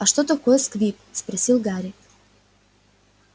а что такое сквиб спросил гарри